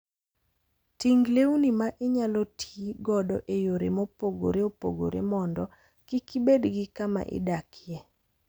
Ting' lewni ma inyalo ti godo e yore mopogore opogore mondo kik ibed gi kama idakie.